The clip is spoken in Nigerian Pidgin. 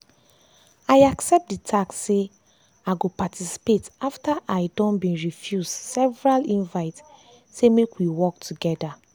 i accept the task say i go paticipate after i don been refuse several invite say make we work together.